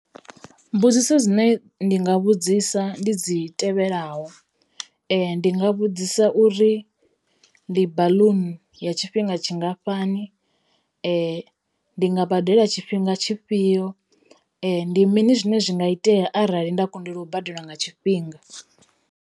Mbudziso dzine ndi nga vhudzisa ndi dzi tevhelaho ndi nga vhudzisa uri ndi baḽuni ya tshifhinga tshingafhani? Ndi nga badela tshifhinga tshifhio? Ndi mini zwine zwi nga itea arali nda kundelwa u badela nga tshifhinga?